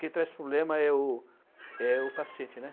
Quem traz problema é o é o paciente, né?